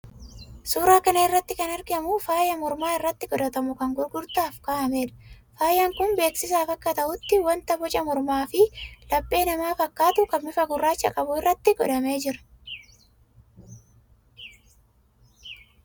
Suuraa kana irratti kan argamu faayaa morma irratti godhatamu kan gurgurtaaf ka'ameedha. Faayaan kun beeksisaaf akka ta'utti wanta boca mormaafi laphee namaa fakkaatu kan bifa gurraacha qabu irratti godhamee jira.